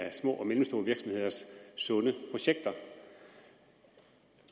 af små og mellemstore virksomheders sunde projekter